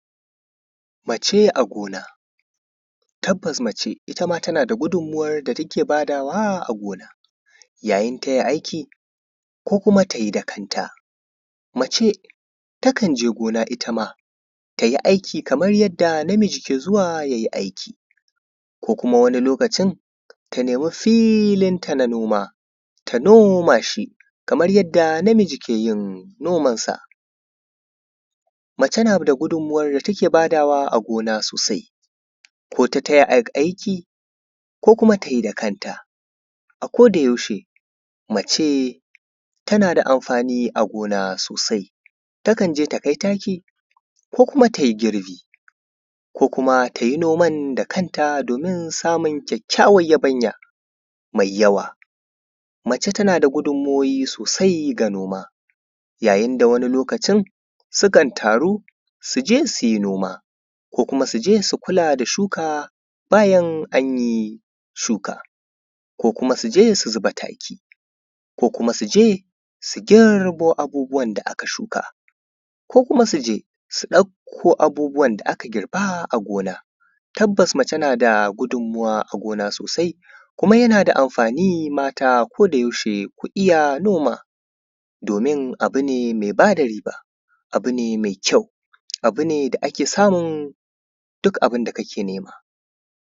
mace a gona tabbas mace itama tana da gudunmuwar da take badawa a gona yayin taya aiki ko kuma tayi da kanta mace takan je gona itama tayi aiki kamar yadda namiji ke zuwa yayi aiki ko kuma wani lokacin ta nemi filin ta na noma ta noma shi kamar yadda namiji keyin noman san mace na da gudunmuwar da ta ke badawa a gona sosai ko ta taya aiki ko kuma tayi da kanta a koda yaushe mace tana da amfani a gona sosai takan je ta kai taki ko kuma tayi girbi ko kuma tayi noman da kanta domin samun kyakkyawan yabanya mai yawa mace tana da gudunmuwoyi sosai ga noma yayin da wani lokacin sukan taru su je suyi noma ko kuma suje su kula da shuka bayan anyi shukar ko kuma suje su zuba taki ko kuma suje su girbo abubuwan da aka shuka ko kuma suje su ɗauko abubuwan da aka girba a gona tabbas mace nada gudunmuwa a gona sosai kuma yana da amfani mata ko da yaushe ku iya noma domin abu ne mai bada riba abu ne mai kyau abu ne da ake samun duk abun da kake nema